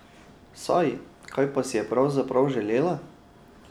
Saj, kaj pa si je pravzaprav želela?